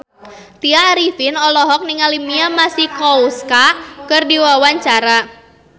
Tya Arifin olohok ningali Mia Masikowska keur diwawancara